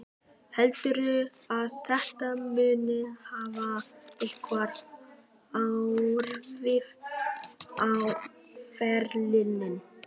Heldurðu að þetta muni hafa einhver áhrif á ferilinn?